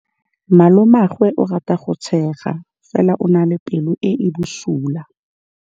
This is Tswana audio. Malomagwe o rata go tshega fela o na le pelo e e bosula.